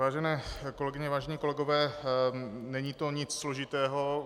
Vážené kolegyně, vážení kolegové, není to nic složitého.